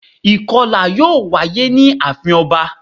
Ìkọlà yíò wáyé ní àafin ọba